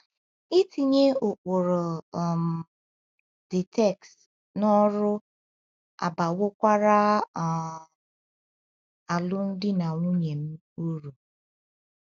Itinye ụkpụrụ um the text n’ọrụ abawokwara um alụmdi na nwunye m uru.